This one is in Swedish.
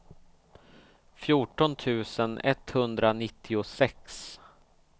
fjorton tusen etthundranittiosex